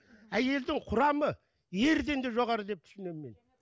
әйелдің құрамы ерден де жоғары деп түсінемін мен